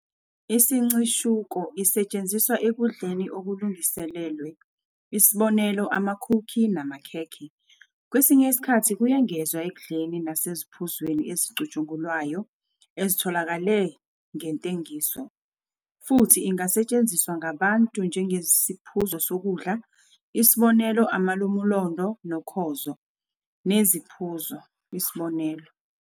Isincishuko isetshenziswa ekudleni okulungiselelwe, isb.amakhukhi namakhekhe, kwesinye isikhathi kuyengezwa ekudleni naseziphuzweni ezicutshungulwayo ezitholakale ngentengiso, futhi ingasetshenziswa ngabantu njengesiphuzo sokudla, isb. amalumulondo nokhozo, neziphuzo, isb.